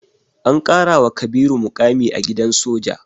An ƙarawa Kabiru muƙami a gidan soja.